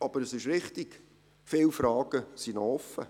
Aber es ist richtig, viele Fragen sind noch offen.